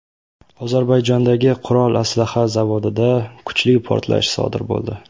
Ozarbayjondagi qurol-aslaha zavodida kuchli portlash sodir bo‘ldi.